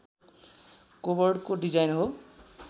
कोबोर्डको design हो